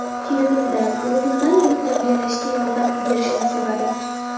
Kelinimdan o‘g‘limdan buni tarbiyalashga yordam berishini so‘radim.